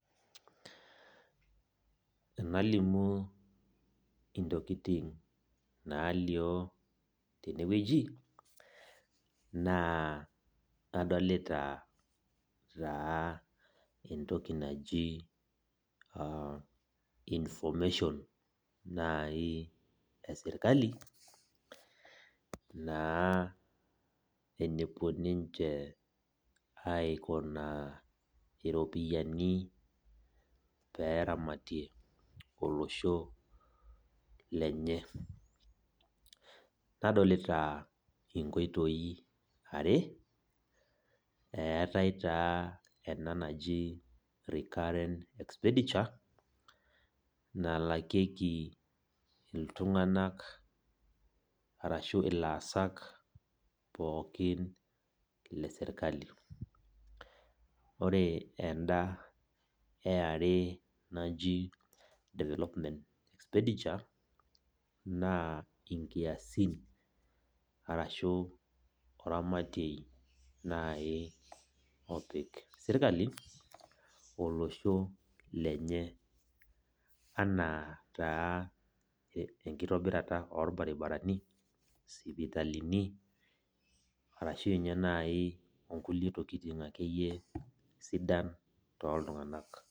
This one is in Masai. Enalimu intokiting nalio tenewueji, naa adolita taa entoki naji information nai esirkali, naa enepuo ninche aikunaa iropiyiani peramatie olosho lenye. Nadolita inkoitoi are, eetae taa ena naji recurrent expenditure, nalakieki iltung'anak arashu ilaasak pookin lesirkali. Ore enda eare naji development expenditure, naa inkiasin arashu oramatiei nai opik sirkali, olosho lenye anaa taa enkitobirata orbaribarani, sipitalini, arashu nye nai onkuli tokiting akeyie sidan toltung'anak.